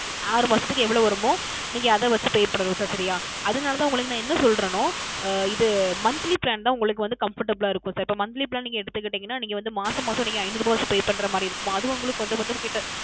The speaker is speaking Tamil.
அஹ் மாசத்துக்கு எவ்வளோ வருமோ நீங்க அதை வைச்சு Pay பண்ண வேண்டும் Sir சரிங்களா அதுனால் தான் உங்களுக்கு என்ன சொல்லுகின்றேன் என்றால் அஹ் இது Monthly Plan தான் உங்களுக்கு வந்து Comfortable லாக இருக்கும் Sir இப்பொழுது நீங்கள் வந்து செலுத்தினீர்கள் என்றால் நீங்கள் வந்து மாதம் மாதம் நீங்கள் ஐநூறு ரூபாய் வைத்து Pay பன்னுகின்ற மாதிரி இருக்கும் அது வந்து உங்களுக்கு கொஞ்சம் கிட்ட